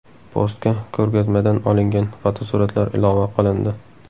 Postga ko‘rgazmadan olingan fotosuratlar ilova qilindi.